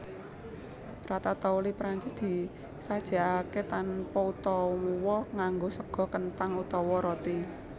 Ratatouille Prancis disajèkaké tanpa utawa nganggo sega kenthang utawa roti